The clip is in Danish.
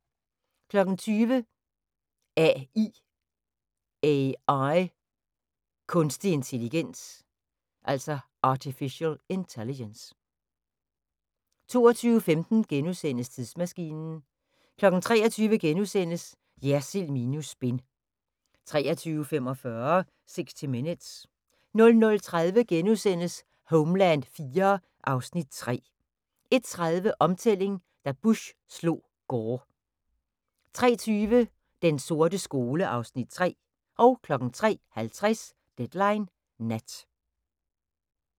20:00: A.I. – Kunstig intelligens 22:15: Tidsmaskinen * 23:00: Jersild minus spin * 23:45: 60 Minutes 00:30: Homeland IV (Afs. 3)* 01:30: Omtælling – da Bush slog Gore 03:20: Den sorte skole (Afs. 3) 03:50: Deadline Nat